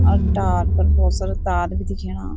और टावर पर बहौत सारा तार बि देख्येणा।